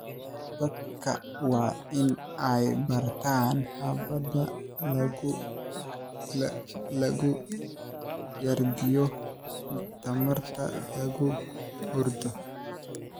Dadka waa in ay bartaan habab lagu kaydiyo tamarta guryahooda.